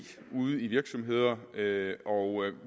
ude i virksomheder og